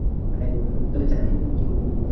তাই বললাম আমি তো আর জানি না কি করে বিয়ে করেছিল।